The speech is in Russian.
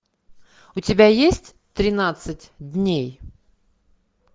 у тебя есть тринадцать дней